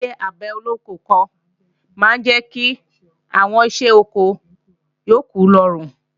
Ṣíṣe àgbẹ̀ olóko kan máa ń jẹ́ kí àwọn iṣẹ́ oko yókù rọrùn